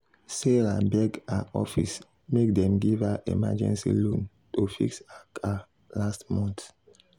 sarah beg her office make dem give her emergency loan to fix her car last month.